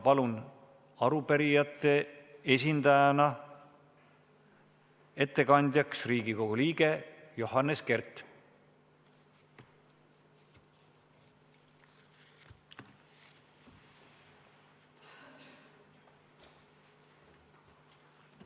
Palun arupärijate esindajana ettekandjakandjaks Riigikogu liige Johannes Kert!